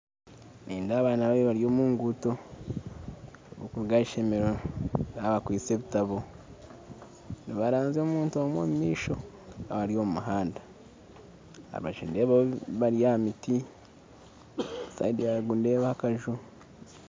Nindeeba abaana babiri bari omunguuto barikuruga aheishomero bakwaitse ebitabo nibaranzya omuntu omwe omumaisho bari omumuhanda abashaija bari aha miti sayidi yaruguru nindeebaho akaju